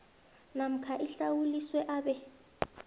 namkha ahlawuliswe abe